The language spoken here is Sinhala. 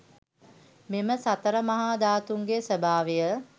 මෙම සතර මහා ධාතූන්ගේ ස්වභාවය